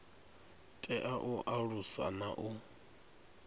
tea u alusa na u